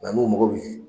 n'u mago bɛ